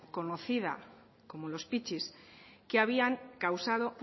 conocida como los pitxis que habían causado